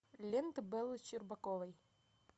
лента бэлы щербаковой